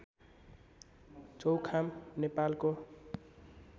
चौखाम नेपालको